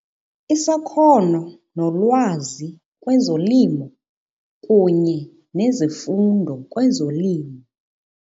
Isakhono nolwazi kwezolimo kunye nezifundo kwezolimo.